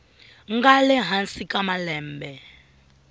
nga le hansi ka malembe